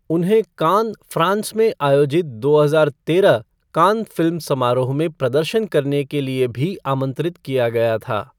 उन्हें Cannes, France में आयोजित दो हजार तेरह कान फ़िल्म समारोह में प्रदर्शन करने के लिए भी आमंत्रित किया गया था।